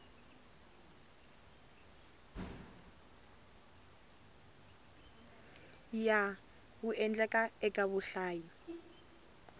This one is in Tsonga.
ya wu endlaka eka vahlayi